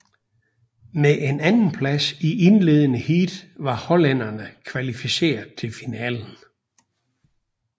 Med en andenplads i indledende heat var hollænderne kvalificeret til finalen